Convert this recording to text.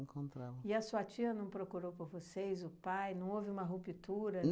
Encontravam. E a sua tia não procurou por vocês, o pai, não houve uma ruptura?